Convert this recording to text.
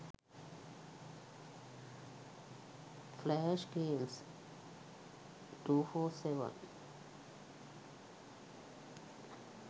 flash games 247